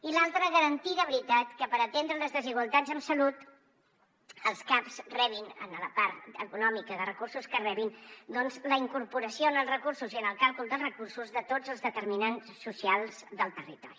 i l’altra garantir de veritat que per atendre les desigualtats en salut els caps rebin en la part econòmica de recursos que rebin la incorporació en els recursos i en el càlcul dels recursos de tots els determinants socials del territori